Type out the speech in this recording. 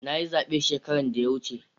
Na yi zabe shekaran da ya wuce.